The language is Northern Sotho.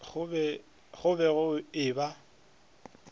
go be go e ba